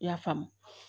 I y'a faamu